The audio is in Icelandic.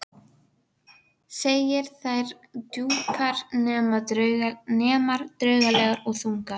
Kúkur og piss- og ég sá fyrir mér ofsahlátur.